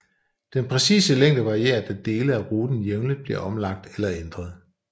Den præcise længde varierer da dele af ruten jævnligt bliver omlagt eller ændret